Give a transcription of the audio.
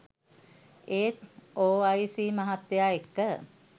ඒත් ඕඅයිසී මහත්තය එක්ක